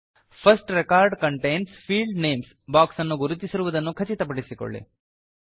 first record contains field names box ಅನ್ನು ಗುರುತಿಸಿರುದನ್ನು ಖಚಿತಪಡಿಸಿಕೊಳ್ಳಿ